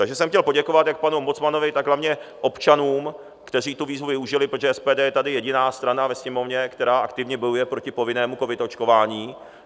Takže jsem chtěl poděkovat jak panu ombudsmanovi, tak hlavně občanům, kteří tu výzvu využili, protože SPD je tady jediná strana ve Sněmovně, která aktivně bojuje proti povinnému covid očkování.